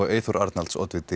Eyþóri Arnalds oddvita